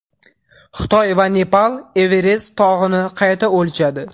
Xitoy va Nepal Everest tog‘ini qayta o‘lchadi.